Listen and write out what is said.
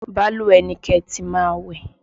Balùwẹ̀ ni kẹ́ ẹ ti máa wẹ̀!